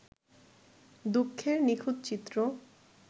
দুঃখের নিখুঁত চিত্র